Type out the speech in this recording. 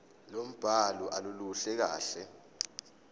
lombhalo aluluhle kahle